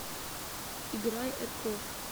играй эркофф